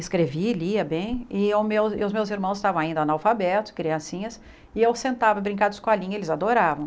Escrevi, lia bem, e os meus os meus irmãos estavam ainda analfabetos, criancinhas, e eu sentava, brincava de escolinha, eles adoravam.